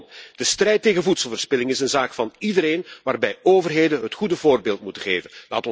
Kortom de strijd tegen voedselverspilling is een zaak van iedereen waarbij overheden het goede voorbeeld moeten geven.